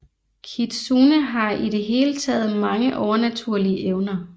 Kitsune har i det hele taget mange overnaturlige evner